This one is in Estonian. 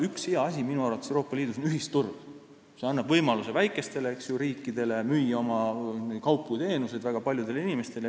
Üks hea asi Euroopa Liidus on minu arvates ühisturg, see annab võimaluse väikestele riikidele müüa oma kaupu ja teenuseid väga paljudele inimestele.